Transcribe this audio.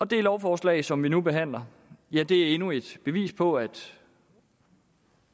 det lovforslag som vi nu behandler er endnu et bevis på at